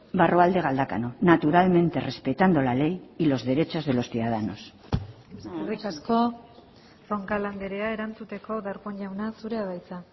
barrualde galdakao naturalmente respetando la ley y los derechos de los ciudadanos eskerrik asko roncal andrea erantzuteko darpón jauna zurea da hitza